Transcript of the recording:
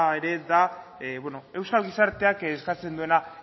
ere da euskal gizarteak eskatzen duena